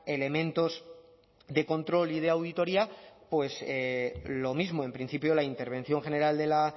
elementos de control y de auditoría pues lo mismo en principio la intervención general de la